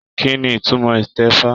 Kínní ìtumọ̀ itẹ̀fa?